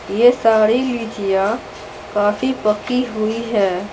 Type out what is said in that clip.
यह सारी लीचियां काफी पकी हुई है।